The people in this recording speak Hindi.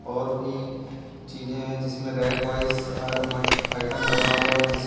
और भी चीजे हैं जिसमें रैक वाइज हर आइटम लगा हुआ है जीस--